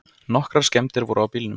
Nokkrar skemmdir voru á bílnum.